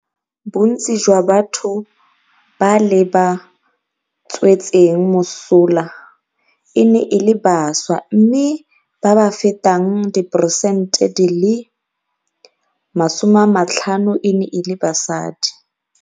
Bontsi jwa batho ba le ba tswetseng mosola e ne e le bašwa, mme ba ba fetang 50peresente e ne e le basadi.